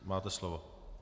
Máte slovo.